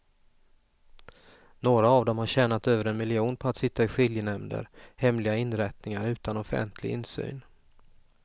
Några av dem har tjänat över en miljon på att sitta i skiljenämnder, hemliga inrättningar utan offentlig insyn.